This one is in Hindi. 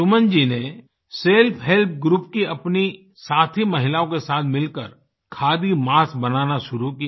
सुमन जी ने सेल्फ हेल्प ग्रुप की अपनी साथी महिलाओं के साथ मिलकर खादी मास्क बनाना शुरू किया